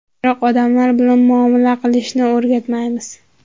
Biroq odamlar bilan muomala qilishni o‘rgatmaymiz.